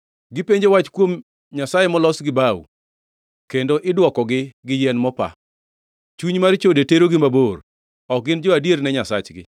Gipenjo wach kuom nyasaye molos gi bao kendo idwokogi gi yien mopa. Chuny mar chode terogi mabor; ok gin jo-adier ne Nyasachgi.